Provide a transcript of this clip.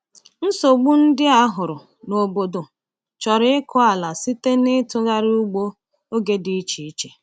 Nsogbu ndị a hụrụ n’obodo chọrọ ịkụ ala site n’itughari ugbo oge dị iche iche.